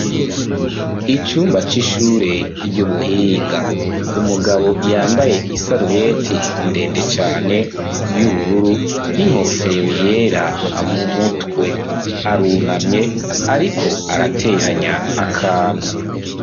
Icumba c'ishure ry'ubuhinga. umugabo yambaye isarubeti ndende cane y'ubururu n'inkofero yera mu mutwe. Arunamye ariko arateranya akantu.